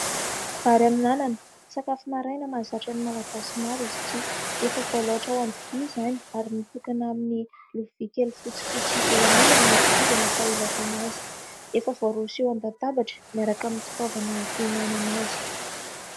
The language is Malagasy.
Vary amin'anana sakafo maraina mahazatra ny malagasy maro izy ity. Efa voaloatra ao an-dovia izany ary mitokana amin'ny lovia kely fotsifotsy eo an'ilany ny kitoza natao ilaofana azy. Efa voaroso eo an-databatra miaraka amin'ny fitaovana hihinanana azy.